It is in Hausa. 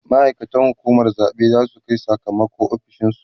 ma'aikatan hukumar zaɓe zasu Kai Saka mako ofishinsu